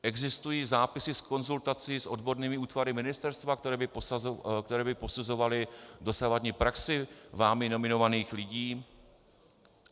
Existují zápisy z konzultací s odbornými útvary Ministerstva, které by posuzovaly dosavadní praxi vámi nominovaných lidí?